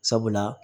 Sabula